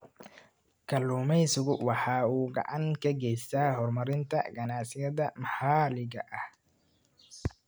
Kalluumaysigu waxa uu gacan ka geystaa horumarinta ganacsiyada maxaliga ah.